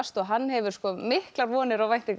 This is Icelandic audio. og hann hefur miklar vonir og væntingar